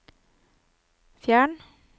fjern